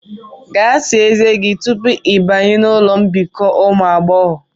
Gaa sáá ezé gi tupu i banye n'ụlọ mbikọ ụmụ agbọghọ